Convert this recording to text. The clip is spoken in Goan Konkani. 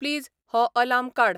प्लीज हो अलार्म काड